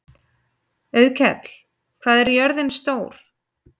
Auðkell, hvað er jörðin stór?